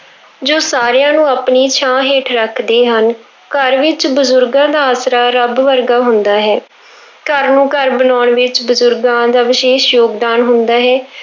ਜੋ ਸਾਰਿਆਂ ਨੂੰ ਆਪਣੀ ਛਾਂ ਹੇਠ ਰੱਖਦੇ ਹਨ, ਘਰ ਵਿੱਚ ਬਜ਼ੁਰਗਾਂ ਦਾ ਆਸਰਾ ਰੱਬ ਵਰਗਾ ਹੁੰਦਾ ਹੈ ਘਰ ਨੂੰ ਘਰ ਬਣਾਉਣ ਵਿੱਚ ਬਜ਼ੁਰਗਾਂ ਦਾ ਵਿਸ਼ੇਸ਼ ਯੋਗਦਾਨ ਹੁੰਦਾ ਹੈ।